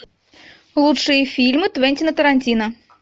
лучшие фильмы квентина тарантино